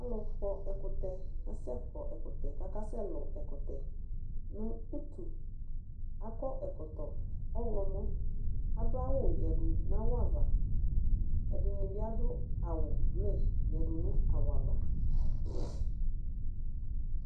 Alʋ kpɔ ɛkʋtɛ, asɛ kɔ ɛkʋtɛ ,kaka sɛ lʋ ɛkʋtɛ nʋ utuAkɔ ɛkɔtɔ ɔɣlɔmɔ, adʋ awʋ yǝdu nawʋ ava; ɛdɩnɩ bɩ adʋ awʋ blue yǝdu nawʋ ava